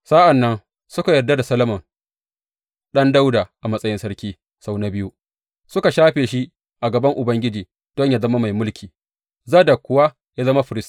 Sa’an nan suka yarda da Solomon ɗan Dawuda a matsayin sarki sau na biyu, suka shafe shi a gaban Ubangiji don yă zama mai mulki, Zadok kuwa ya zama firist.